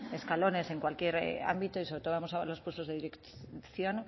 escalones en cualquier ámbito y sobre todo vamos a ver los puestos de dirección